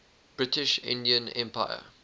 british indian empire